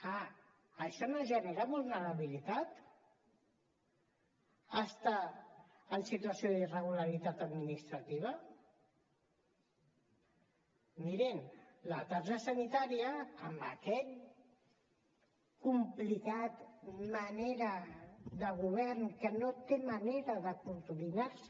ah això no genera vulnerabilitat estar en situació d’irregularitat administrativa mirin la targeta sanitària amb aquesta complicada manera de govern que no té manera de coordinar se